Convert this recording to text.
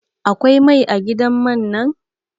Akwai mai a gidan man nan?